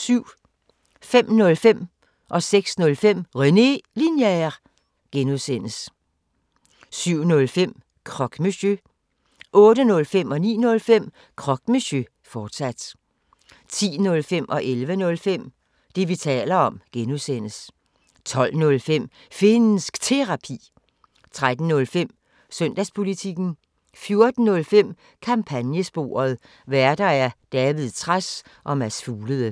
05:05: René Linjer (G) 06:05: René Linjer (G) 07:05: Croque Monsieur 08:05: Croque Monsieur, fortsat 09:05: Croque Monsieur, fortsat 10:05: Det, vi taler om (G) 11:05: Det, vi taler om (G) 12:05: Finnsk Terapi 13:05: Søndagspolitikken 14:05: Kampagnesporet: Værter: David Trads og Mads Fuglede